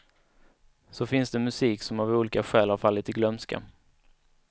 Så finns det musik som av olika skäl har fallit i glömska.